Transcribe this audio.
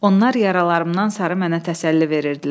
Onlar yaralarımdan sarı mənə təsəlli verirdilər.